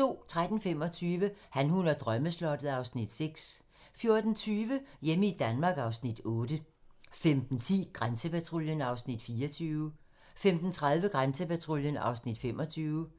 13:25: Han, hun og drømmeslottet (Afs. 6) 14:20: Hjemme i Danmark (Afs. 8) 15:10: Grænsepatruljen (Afs. 24) 15:30: Grænsepatruljen (Afs. 25)